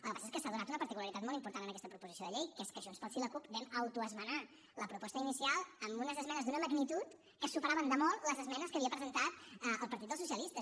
el que passa és que s’ha donat una particularitat molt important en aquesta proposició de llei que és que junts pel sí i la cup vam autoesmenar la proposta inicial amb unes esmenes d’una magnitud que superaven de molt les esmenes que havia presentat el partit dels socialistes